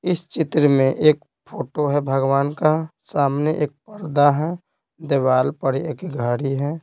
इस चित्र में एक फोटो है भगवान का सामने एक पर्दा है दिवार पर एक घड़ी है।